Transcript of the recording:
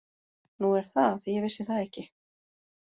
Nú er það, ég vissi það ekki.